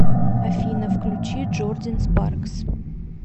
афина включи джордин спаркс